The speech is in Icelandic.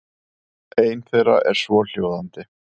Ein þeirra er svohljóðandi: